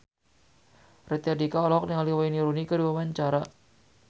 Raditya Dika olohok ningali Wayne Rooney keur diwawancara